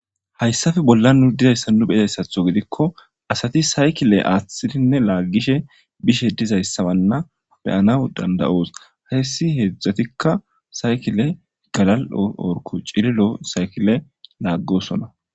Hayssafe bolla nu dizayssa nu beyayssatho gidikko asati saykile aaththidinne laaggishe bishe dizayssabanna beyanaw dandayoos hayssi heedzdzatikka saykile galal orku cililo saykile laaggosona.